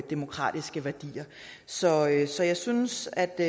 demokratiske værdier så jeg så jeg synes at det